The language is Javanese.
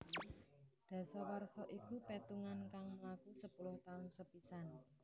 Dasawarsa iku petungan kang mlaku sepuluh taun sepisan